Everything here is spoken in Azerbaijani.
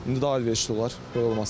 İndi daha əlverişli olar, belə olması.